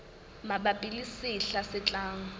mabapi le sehla se tlang